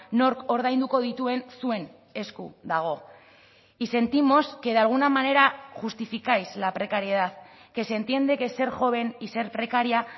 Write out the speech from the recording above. nork ordainduko dituen zuen esku dago y sentimos que de alguna manera justificáis la precariedad que se entiende que ser joven y ser precaria